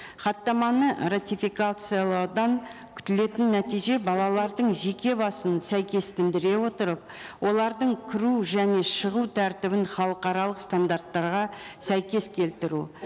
хаттаманы ратификациялаудан күтілетін нәтиже балалардың жеке басын сәйкестіре отырып олардың кіру жіне шығу тәртібін халықаралық стандарттарға сәйкес келтіру